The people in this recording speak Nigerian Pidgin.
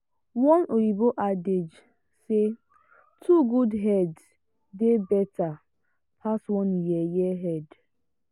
one oyibo adage say two good heads dey better pass one yeye head.